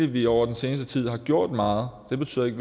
vi over den seneste tid har gjort meget det betyder ikke